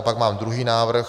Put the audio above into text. A pak mám druhý návrh...